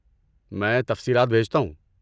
میں تفصیلات بھیجتا ہوں۔